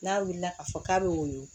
N'a wulila ka fɔ k'a be woyo